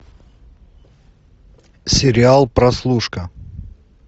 сериал прослушка